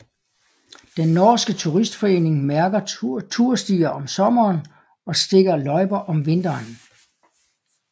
Den Norske Turistforening mærker turstier om sommeren og stikker løjper om vinteren